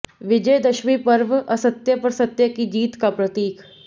विजयदशमी पर्व असत्य पर सत्य की जीत का प्रतीक